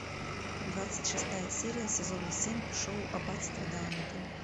двадцать шестая серия сезона семь шоу аббатство даунтон